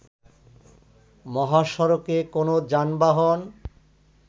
মহাসড়কে কোন যানবাহন